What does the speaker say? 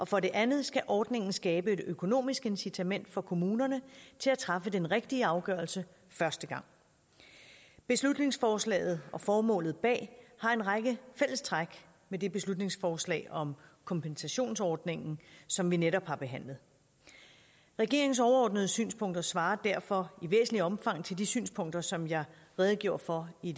for det andet skal ordningen skabe et økonomisk incitament for kommunerne til at træffe den rigtige afgørelse første gang beslutningsforslaget og formålet bag det har en række fællestræk med det beslutningsforslag om kompensationsordningen som vi netop har behandlet regeringens overordnede synspunkter svarer derfor i væsentligt omfang til de synspunkter som jeg redegjorde for i